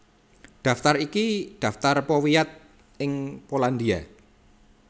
Daftar iki daftar powiat ing Polandia